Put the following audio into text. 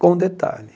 Com um detalhe.